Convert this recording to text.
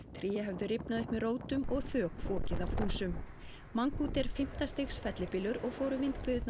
tré höfðu rifnað upp með rótum og þök fokið af húsum mangkhut er fimmta stigs fellibylur og fóru